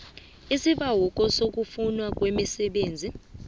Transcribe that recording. isibawo sokuvunywa kwemisebenzi